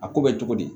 A ko bɛ cogo di